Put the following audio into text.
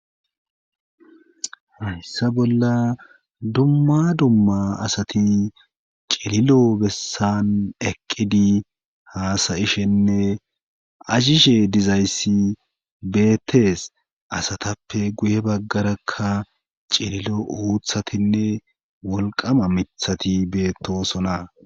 aessa bolla dumma dumma asati cililo bessan eqqidi haasayishenne ashishe dizayssi beettees asatappe guye baggarakka cililo uuthatinne wolqama mithati beettosona.